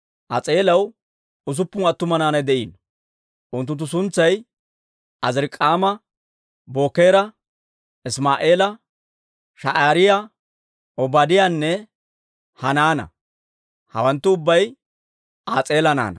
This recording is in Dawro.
As'eelaw usuppun attuma naanay de'iino. Unttunttu suntsay Azirik'aama, Bookera, Isimaa'eela, Sha'aariyaa, Obaadiyaanne Hanaana; hawanttu ubbay As'eela naanaa.